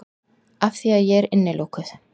Afþvíað ég er innilokuð.